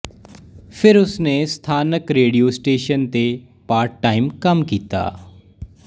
ਫਿਰ ਉਸ ਨੇ ਸਥਾਨਕ ਰੇਡੀਓ ਸਟੇਸ਼ਨ ਤੇ ਪਾਰਟ ਟਾਈਮ ਕੰਮ ਕੀਤਾ